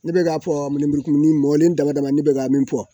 Ne bɛ k'a fɔ lemuru kumuni mɔlen dama dama ne bɛ ka min fɔ